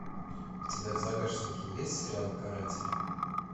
у тебя в загашнике есть сериал каратель